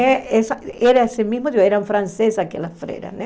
É essa era esse mesmo, eram francesas aquelas freiras, né?